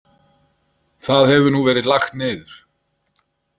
Það hefur nú verið lagt niður.